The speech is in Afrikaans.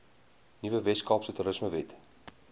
nuwe weskaapse toerismewet